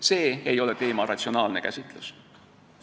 See ei ole teema ratsionaalne käsitlus.